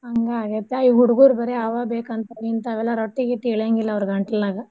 ಹಂಗ ಆಗೇತಾ ಈಗ್ ಹುಡ್ಗೂರ್ ಬರೆ ಅವ ಬೇಕಂತ್ ಹಿಂತಾವೆಲ್ಲ ರೊಟ್ಟೀ ಗಿಟ್ಟಿ ಇಳ್ಯಾಗಿಲ್ಲ ಅವ್ರ ಗಂಟ್ಲನ್ಯಾಗ.